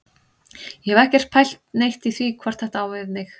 Ég hef ekkert pælt neitt í því hvort þetta á við mig.